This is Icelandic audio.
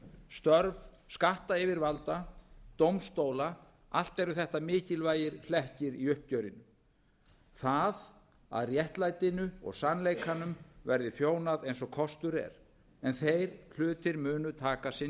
störf skattyfirvalda dómstóla allt eru þetta mikilvægir hlekkir í uppgjörinu það að réttlætinu og sannleikanum verði þjónað eins og kostur er en þeir hlutir munu taka